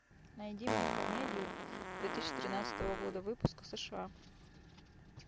найди мне комедию две тысячи тринадцатого года выпуска сша